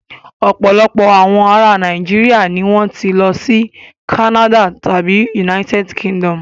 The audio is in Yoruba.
Ọ̀pọ̀ àwọn ará Nàìjíríà ni wọ́n ti ṣí lọ sí Canads tàbí United Kingdom.